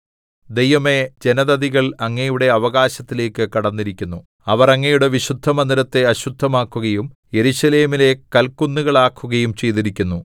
ദൈവമേ ജനതതികൾ അങ്ങയുടെ അവകാശത്തിലേക്ക് കടന്നിരിക്കുന്നു അവർ അങ്ങയുടെ വിശുദ്ധമന്ദിരത്തെ അശുദ്ധമാക്കുകയും യെരൂശലേമിനെ കൽകുന്നുകളാക്കുകയും ചെയ്തിരിക്കുന്നു